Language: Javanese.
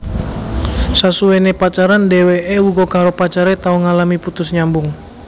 Sasuwené pacaran dheweké uga karo pacare tau ngalami putus nyambung